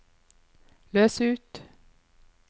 løs ut